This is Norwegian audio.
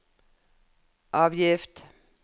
avgift